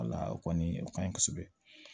Wala o kɔni o kaɲi kosɛbɛ